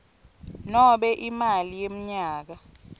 nobe imali yemnyaka